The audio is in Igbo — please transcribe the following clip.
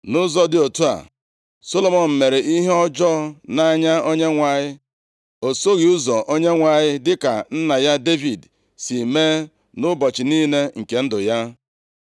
Nʼụzọ dị otu a, Solomọn mere ihe ọjọọ nʼanya Onyenwe anyị. O soghị ụzọ Onyenwe anyị dịka nna ya Devid si mee nʼụbọchị niile nke ndụ ya.